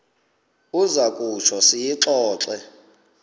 uza kutsho siyixoxe